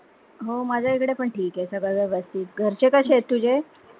हो, माझ्या एकडे पण ठिक आहे, सगळे वेवस्थित घरचे कसे आहेत तुझे?